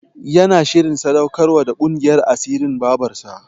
Yana shirin sadaukar wa da ƙungiyar asirin Babarsa.